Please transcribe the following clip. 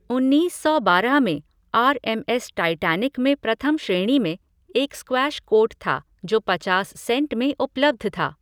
उन्नीस सौ बारह में, आर एम एस टाइटैनिक में प्रथम श्रेणी में एक स्क्वैश कोर्ट था, जो पचास सेंट में उपलब्ध था।